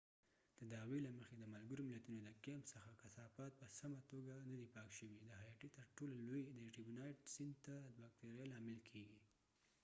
د دعوی دمحكمې يوه فقره له مخې، د ملګرو ملتونو د کیمپ څخه کثافات په سمه توګه ندي پاک شوي د هایټي ترټولو لوی، د ارټيبونایټ سیند ته د باکتریا لامل کیږي۔